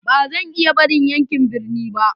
Ba zan iya barin yankin birni ba.